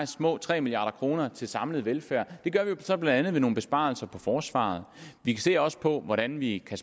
små tre milliard kroner til samlet velfærd det gør vi så blandt andet ved nogle besparelser på forsvaret vi ser også på hvordan vi kan